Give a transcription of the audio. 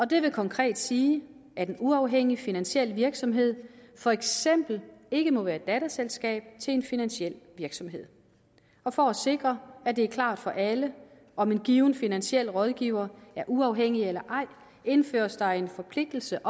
det vil konkret sige at en uafhængig finansiel virksomhed for eksempel ikke må være datterselskab af en finansiel virksomhed og for at sikre at det er klart for alle om en given finansiel rådgiver er uafhængig eller ej indføres der en forpligtelse